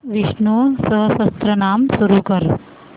विष्णु सहस्त्रनाम सुरू कर